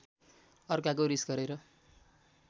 अर्काको रिस गरेर